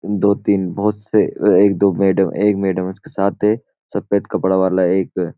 दो तीन बहुत से एक दो मैडम एक मैडम उसके साथ है सफेद कपड़ा वाला एक --